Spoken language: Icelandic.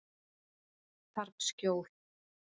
Þarf skjól.